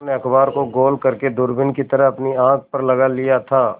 उन्होंने अखबार को गोल करने दूरबीन की तरह अपनी आँख पर लगा लिया था